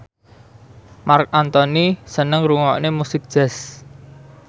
Marc Anthony seneng ngrungokne musik jazz